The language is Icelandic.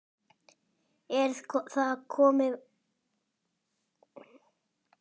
Er komið vonleysi í hópinn?